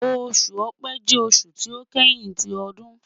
Oṣu Ọ̀pẹ jẹ oṣu ti o kẹhin ti ọdun